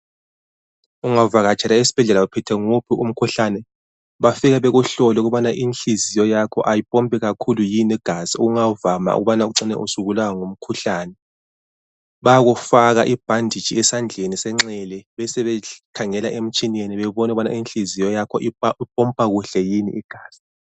Ungavakatshela esibhedlela uphethwe nguphi umkhuhlane bafika bekuhlole ukubana inhliziyo yakho ayipompi kakhulu yini igazi okungavama ukubana ucine usubulawa ngumkhuhlane. Bayakufaka ibhanditshi esandleni senxele besebekhangela emtshineni bebone ukubana inhliziyo yakho ipompa kuhle yini igazi.